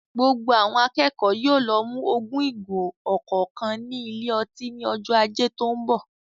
Gbogbo àwọn akẹ́kọ̀ọ́ yóò lọ mu ogún ìgò ọ̀kọ̀ọ̀kan ní ilé ọtí ní ọjọ́ Ajé tó ń bọ̀.